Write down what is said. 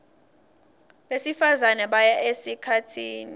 besifazane baya esikhatsini